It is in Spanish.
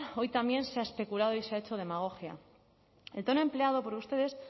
hoy también se ha especulado y se ha hecho demagogia el tono empleado por ustedes